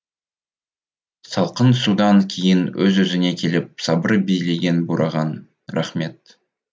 салқын судан кейін өз өзіне келіп сабыр билеген бурахан рахмет